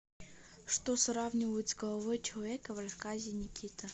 что сравнивают с головой человека в рассказе никита